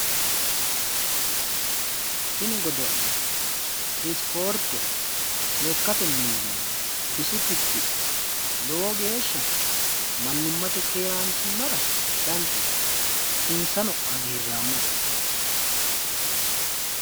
Tini godo'le isporte lekkate millimmo bisu tittidha mannimmate keeraanchimmara tittidhamara mannimmate keeraanchimmara danchate. insano hagiirraamma assitanninsa.